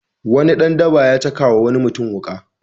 Wani dan daba ya caka wa wani mutum wuƙa.